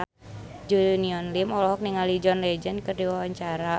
Junior Liem olohok ningali John Legend keur diwawancara